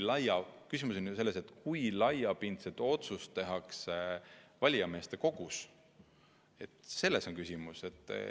Küsimus on selles, kui laiapindne otsus tehakse valijameeste kogus – selles on küsimus.